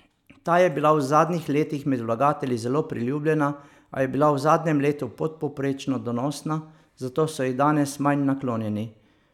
Ta je bila v zadnjih letih med vlagatelji zelo priljubljena, a je bila v zadnjem letu podpovprečno donosna, zato so ji danes manj naklonjeni.